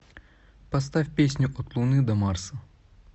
поставь песню от луны до марса